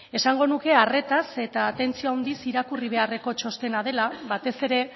esango nuke arretaz eta atentzio handiz irakurri beharreko txostena dela batez ere